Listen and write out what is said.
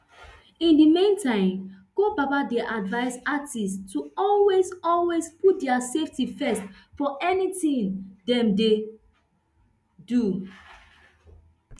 in di meantime ko baba dey advise artistes to always always put dia safety first for any tin dem dey do